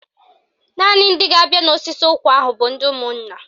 Naanị ndị ga-abịa n'osisi ụkwa ahụ bụ ndị ụmụnna